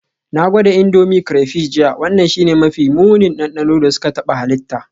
Na gwada Indomie crayfish jiya, wannan shine mafi munin dandano da suka taɓa halitta.